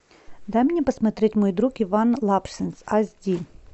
дай мне посмотреть мой друг иван лапшин аш ди